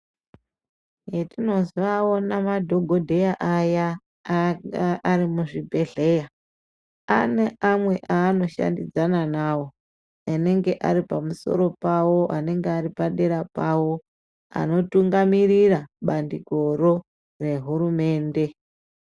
Hetinozoaona madhogodheya aya anga ari muzvibhedhleya, ane amwe aanoshandidzana navo, anenge ari pamusoro pavo, anenga ari padera pavo, anotungamirira bandikoro rehurumende.